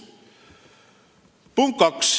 Punkt kaks.